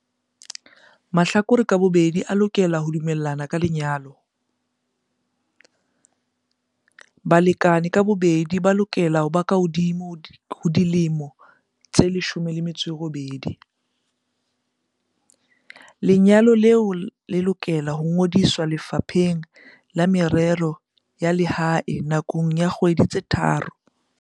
Vuk- Ke melao efe eo manyalo ana a lokelang ho ikamahanya le yona?